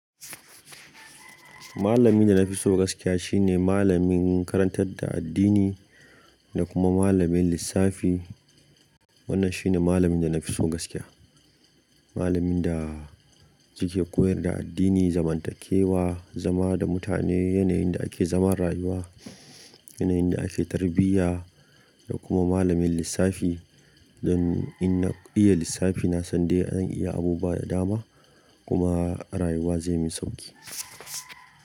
Malamin da na fi so gaskiya shine malamin karantar da addini da kuma malamin lissafi. Wannan shine malamin da na fi so gaskiya. Malamin da suke koyar da addini, zamantakewa, zama da mutane, yanayin da ake zaman rayuwa, yanayin da ake tarbiyya da kuma malamin lissafi. Don in na iya lissafi, na san dai an iya abu buwa da dama kuma rayuwa zai min sauƙi.